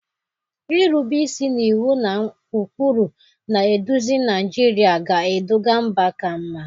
Irube isi n'iwu na ụkpụrụ na-eduzi Naijiria ga-eduga mba ka mma.